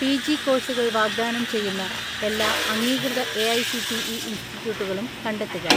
"PG കോഴ്‌സുകൾ വാഗ്ദാനം ചെയ്യുന്ന എല്ലാ അംഗീകൃത എ.ഐ.സി.ടി.ഇ ഇൻസ്റ്റിറ്റ്യൂട്ടുകളും കണ്ടെത്തുക."